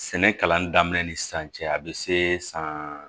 Sɛnɛ kalan daminɛ ni sisan cɛ a bɛ se san